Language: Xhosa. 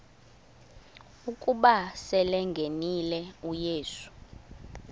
ukuba selengenile uyesu